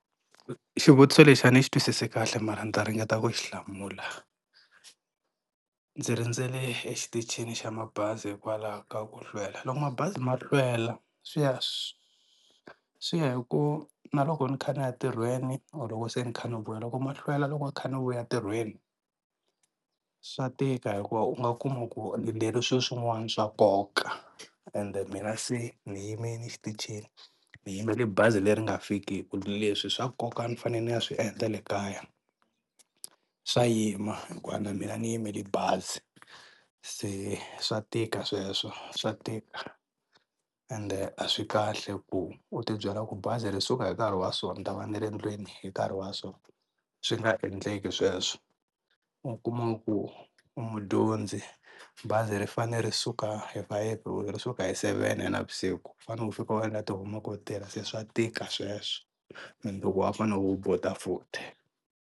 Xivutiso lexi a ni xi twisisi kahle mara ni ta ringeta ku xi hlamula ndzi rindzele exitichini xa mabazi hikwalaho ka ku hlwela loko mabazi ma hlwela swi ya swi swi ya hi ku na loko ni kha niya ntirhweni or loko se ni kha ni vuya loko ma hlwela loko ni kha ni vuya ntirhweni swa tika hikuva u nga kuma ku ni lerisiwe swin'wana swa nkoka ende mina se ni yimini xitichini ni yimele bazi leri nga fikiki leswi swa nkoka ni fanele ni ya swi endla le kaya swa yima hikuva na mina ni yimele bazi se swa tika sweswo swa tika ende a swi kahle ku u ti byela ku bazi ri suka hi nkarhi wa so ni ta va ni ri endlwini hi nkarhi wa so swi nga endleki sweswo u kuma ku u mudyondzi bazi ri fanele ri suka hi fayefe ro ri suka hi seven ya na vusiku u fanele u fika u endla ti-homework u tirha se swa tika sweswo and wa fanele u hubuta futhi.